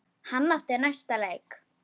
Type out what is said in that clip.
Hann átti næsta leik.